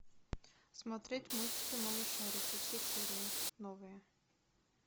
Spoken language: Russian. смотреть мультики малышарики все серии новые